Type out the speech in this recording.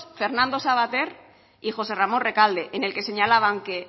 fernando savater y josé ramón recalde en el que señalaban que